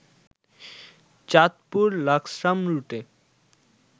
চাঁদপুর-লাকসাম রুটে